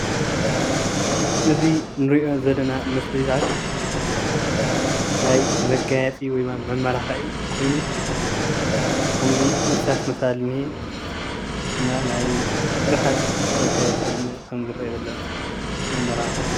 እዙይ እንሪኦ ዘለና መፍለያታት ናይ መጋየፂ ወይ ኸዓ መመላኽዒ ኮይኑ ከምዙይ እርሳስ መሳሊ እኒሀ እና ናይ ቡዙሓት መጋየፅታት ከም ዝርአ ዘሎ የመላኽት።